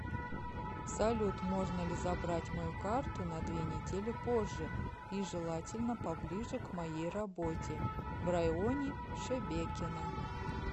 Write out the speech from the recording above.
салют можно ли забрать мою карту на две недели позже и желательно поближе к моей работе в районе шебекино